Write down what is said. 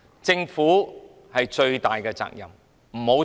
政府有最大的責任，不要推卸。